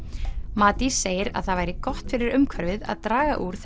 Matís segir að það væri gott fyrir umhverfið að draga úr